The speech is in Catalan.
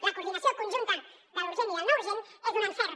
la coordinació conjunta de l’urgent i del no urgent és un encert